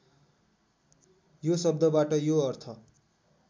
यो शब्दबाट यो अर्थ